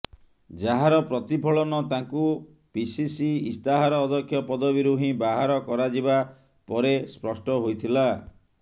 ଯାହାର ପ୍ରତିଫଳନ ତାଙ୍କୁ ପିସିସି ଇସ୍ତାହାର ଅଧ୍ୟକ୍ଷ ପଦବୀରୁ ହିଁ ବାହାର କରାଯିବା ପରେ ସ୍ପଷ୍ଟ ହୋଇଥିଲା